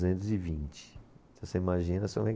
e vinte. Se você imagina